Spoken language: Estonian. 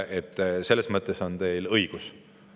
Selles mõttes on teil õigus.